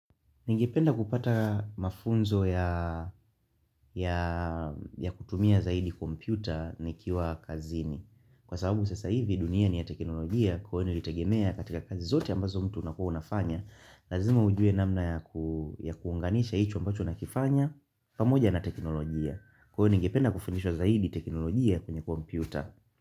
Ningependa kupata mafunzo ya kutumia zaidi kompyuta nikiwa kazini. Kwa sababu sasa hivi dunia ni ya teknolojia kwani nilitegemea katika kazi zote ambazo mtu unakua unafanya. Lazima ujue namna ya kuunganisha hicho ambacho nakifanya pamoja na teknolojia. Kwa hiyo ningependa kufundishwa zaidi teknolojia kwenye kompyuta.